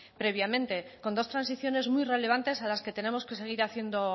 previamente con dos transiciones muy relevantes a las que tenemos que seguir haciendo